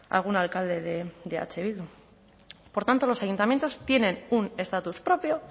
algún alcalde de eh bildu por tanto los ayuntamientos tienen un estatus propio